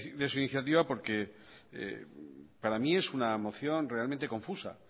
de su iniciativa porque para mí es una moción realmente confusa